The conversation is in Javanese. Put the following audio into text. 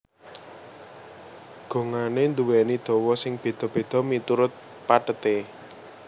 Gongané nduwèni dawa sing béda béda miturut patheté